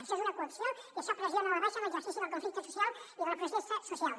això és una coacció i això pressiona a la baixa l’exercici del conflicte social i de la protesta social